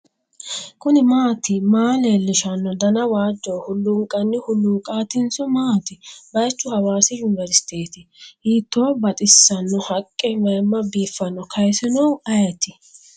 kuni maati maa leellishshanno dana waajjoho hulluunqanni hulluuqaatinso maati baychu hawasi yuniverisiteti? hiitto baxissanno haqqe maymma biiffino kaasinohu ayeti ?